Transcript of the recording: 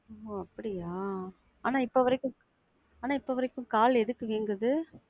அப்படியா? ஆனா இப்ப வரைக்கும் ஆனா இப்ப வரைக்கும் கால் எதுக்கு வீங்குது?